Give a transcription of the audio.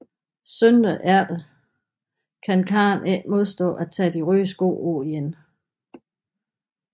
Søndagen efter kan Karen ikke modstå at tage de røde sko på igen